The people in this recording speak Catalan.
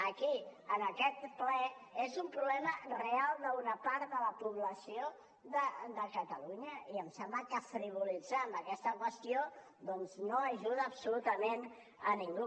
aquí en aquest ple és un problema real d’una part de la població de catalunya i em sembla que frivolitzar amb aquesta qüestió doncs no ajuda absolutament a ningú